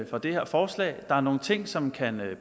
for det her forslag der er nogle ting som kan